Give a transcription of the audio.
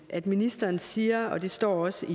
at ministeren siger og det står også